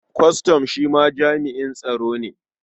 Kwastam shi ma jami'in tsaro ne.